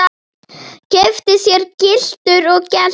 Keypti sér gyltur og gelti.